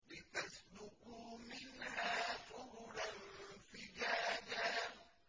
لِّتَسْلُكُوا مِنْهَا سُبُلًا فِجَاجًا